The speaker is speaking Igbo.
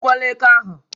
Egbukwala éké ahụ!